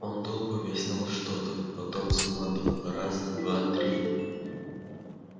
он долго объяснял что-то потом скомандовал раз два три